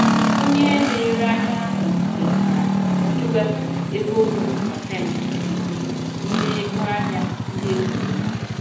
Onye na-ere ahịa ahụ kwetara iwepụ ego ruru pasentị iri n'ime ego ahịa ndị egoro ya.